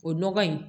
O nɔgɔ in